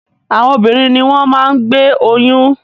Àwọn obìnrin ni wọ́n máa ń gbé oyún.